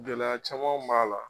Gɛlɛya camanw b'a la.